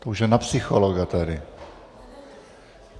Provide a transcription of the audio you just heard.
To už je na psychologa tady.